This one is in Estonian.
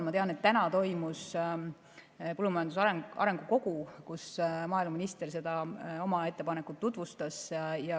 Ma tean, et täna toimus põllumajanduse arengu kogu, kus maaeluminister oma ettepanekut tutvustas.